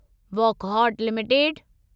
Wockhardt limited